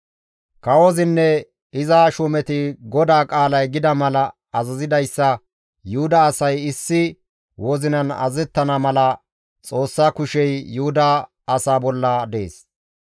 Kawozinne iza shuumeti GODAA qaalay gida mala azazidayssa Yuhuda asay issi wozinan azazettana mala Xoossa kushey Yuhuda asaa bolla dees.